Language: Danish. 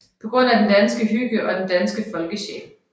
På grund af den danske hygge og den danske folkesjæl